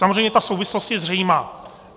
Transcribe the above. Samozřejmě ta souvislost je zřejmá.